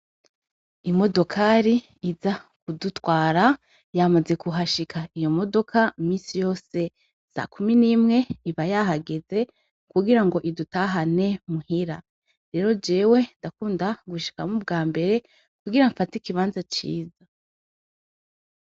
Imodokari iza kudutwara yamaze kuhashika. Iyo modoka imisi yose sakumi nimwe iba yahageze, kugirango idutahane muhira. Rero jewe ndakunda gushika ubwambere ,kugira nfate ikibanza ciza.